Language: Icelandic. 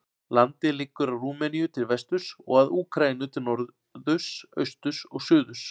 Landið liggur að Rúmeníu til vesturs og að Úkraínu til norðurs, austurs og suðurs.